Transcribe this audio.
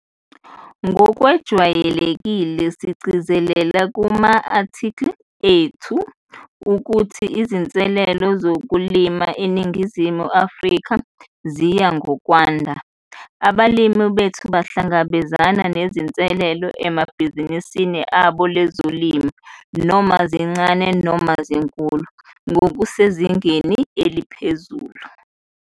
NGOKWEJWAYELEKILE, SIGCIZELELE KUMA-ATHIKHILI ETHU UKUTHI IZINSELELO ZOKULIMA ENINGIZIMU AFRIKA ZIYA NGOKWANDA. ABALIMI BETHU BAHLANGABEZANA NEZINSELELO EBHIZINISINI LABO LEZOLIMO, NOMA ZINCANE NOMA ZINKULU, NGOKUSEZINGENI ELIPHEZULU.